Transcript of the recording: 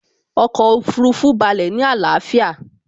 Ọkọ̀ Òfurufú balẹ̀ ní àlàáfíà